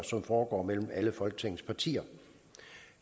som foregår mellem alle folketingets partier